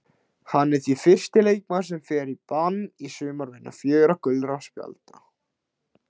Hann er því fyrsti leikmaðurinn sem fer í bann í sumar vegna fjögurra gulra spjalda.